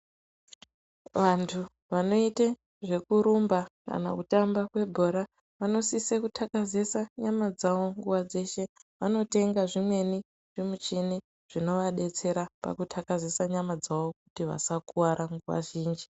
Vantu vanoite zvekurumba kana kutamba kwebhora vanosise kuthakazisa nyama dzavo nguwa dzeshe vanotenga zvimweni zvimuchini zvinovadetsera pakuthakazise nyama dzavo kuti vasakuwara nguwa zhinji.